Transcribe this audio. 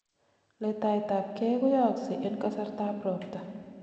letaet ab gei koyooksei en kasartab robta